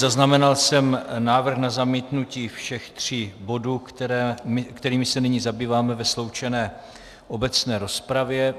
Zaznamenal jsem návrh na zamítnutí všech tří bodů, kterými se nyní zabýváme ve sloučené obecné rozpravě.